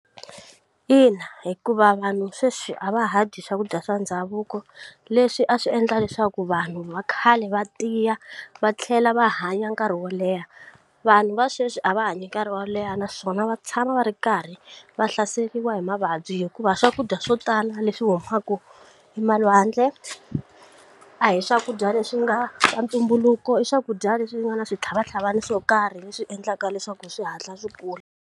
Ina hikuva vanhu sweswi a va ha dyi swakudya swa ndhavuko leswi a swi endla leswaku vanhu va khale va tiya va tlhela va hanya nkarhi wo leha vanhu va sweswi a va hanyi nkarhi wo leha naswona va tshama va ri karhi va hlaseriwa hi mavabyi hikuva swakudya swo tala leswi humaka e malwandle a hi swakudya leswi nga ta ntumbuluko i swakudya leswi nga ni switlhavatlhavana swo karhi leswi endlaka leswaku swi hatla swi kula.